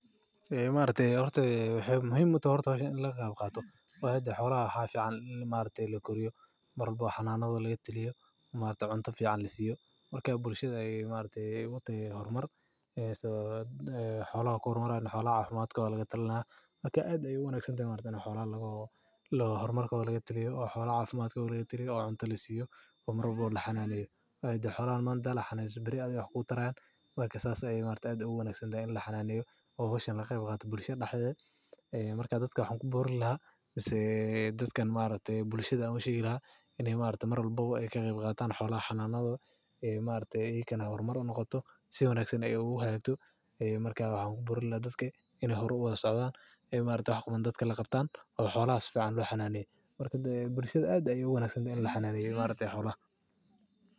Waxay muhiim u tahay xoolaha. Waxa fiican in la koriyo, xanaanadooda laga taliyo, cunto fiican la siiyo. Bulshada, xoolaha ku horumaraan, caafimaadkooda laga taliyo. Waa wanaagsan tahay in xoolaha horumarkooda laga taliyo oo cunto la siiyo, la xannaaneeyo. Beri waxay wax ku taran, sidaa darteed ugu wanaagsan tahay in bulshada dhexdeeda laga qayb qaato. Waxaan ku boorin lahaa bulshada inay ka qayb qaataan xoolaha xanaanadooda, horumarkooda oo horumar u socdaan. Xoolaha si fiican aad u wanaagsan tahay in la xannaaneeyo, xoolaha la xannaaneeyo.